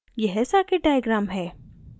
यह circuit diagram है